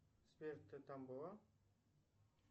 сбер ты там была